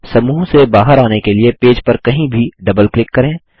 समूह से बाहर आने के लिए पेज पर कहीं भी डबल क्लिक करें